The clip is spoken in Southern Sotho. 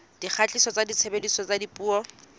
dikgatiso tsa tshebediso ya dipuo